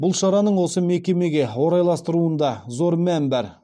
бұл шараның осы мекемеге орайластырылуында зор мән бар